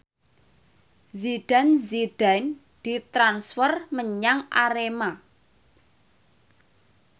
Zidane Zidane ditransfer menyang Arema